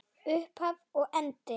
Upphaf og endi.